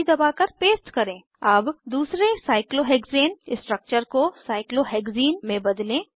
अब दूसरे cyclohexane cyclohexane structure को साइक्लोहेक्सीन साइक्लोहेक्ज़ीनमें बदलें